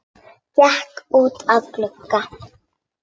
Gekk út að glugga.